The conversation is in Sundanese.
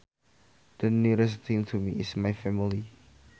The nearest thing to me is my family